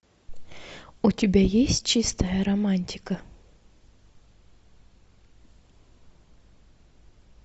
у тебя есть чистая романтика